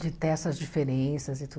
De ter essas diferenças e tudo.